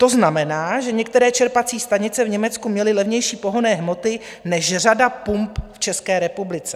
To znamená, že některé čerpací stanice v Německu měly levnější pohonné hmoty než řada pump v České republice.